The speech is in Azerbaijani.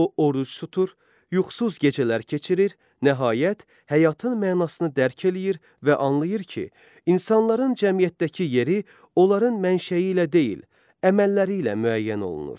O oruc tutur, yuxusuz gecələr keçirir, nəhayət həyatın mənasını dərk eləyir və anlayır ki, insanların cəmiyyətdəki yeri onların mənşəyi ilə deyil, əməlləri ilə müəyyən olunur.